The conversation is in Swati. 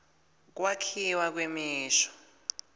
kwakhiwa kwemisho